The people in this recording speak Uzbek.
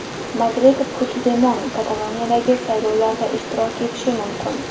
Madrid: Puchdemon Kataloniyadagi saylovlarda ishtirok etishi mumkin.